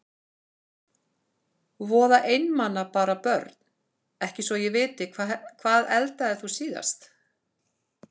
Voða einmana bara Börn: Ekki svo ég viti Hvað eldaðir þú síðast?